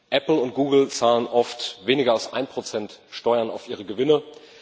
Apple und Google zahlen oft weniger als ein Prozent Steuern auf ihre Gewinne.